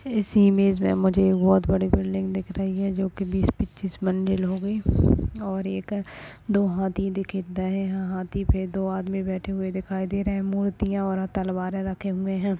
इस इमेज में मुझे बहुत बड़ी बिल्डिग दिख रही है जो की बीस पच्चिश मजिल की होगी और एक दो हाथी दिकित और हाथी पे दो आदमी बैठे दिखाई दे रहे है मूर्तीया और तलवारे रखे हुए है।